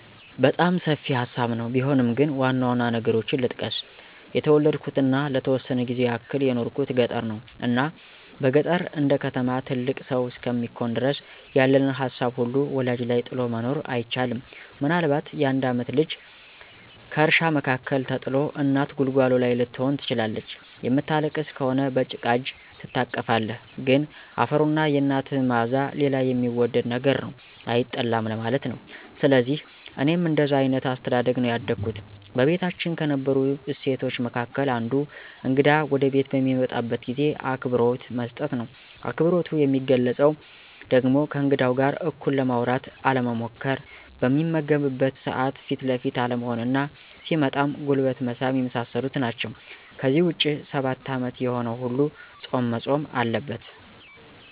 በጣም ሰፊ ሀሳብ ነው ቢሆንም ግን ዋናዋና ነገሮችን ልጥቀስ። የተወለድኩትና ለተወሰነ ጊዜ ያክል የኖርኩት ገጠር ነው። እና በገጠር እንደከተማ ትልቅ ሰው እስከሚኮን ድረስ ያለንን ሀሳብ ሁሉ ወላጅ ላይ ጥሎ መኖር አይቻልም። ምናልባት የአንድ ዓመት ልጅ ከእርሻ መካከል ተጥሎ እናት ጉልጓሎ ላይ ልትሆን ትችላለች። የምታለቅስ ከሆነ በጭቃ እጅ ትታቀፋለህ። ግን አፈሩና የናትህ ማዕዛ ሌላ የሚወደድ ነገር ነው፤ አይጠላም ለማለት ነው። ስለዚህ እኔም እንደዛ አይነት አስተዳደግ ነው ያደግኩት። በቤታችን ከነበሩ እሴቶች መካከል አንዱ እግዳ ወደቤት በሚመጣበት ጊዜ አክብሮት መስጠት ነው። አክብሮቱ የሚገለፀው ደግሞ ከእንግዳው ጋር እኩል ለማውራት አለመሞኰኰር፣ በሚመገብበት ሰዓት ፊት ለፊት አለመሆንና ሲመጣም ጉልበት መሳም የመሳሰሉት ናቸው። ከዚህ ውጭ ሰባት ዓመት የሆነው ሁሉ ፆም መፆም አለበት።